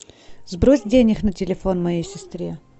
сбрось денег на телефон моей сестре